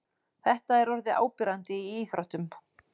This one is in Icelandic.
Þetta er orðið áberandi í íþróttum.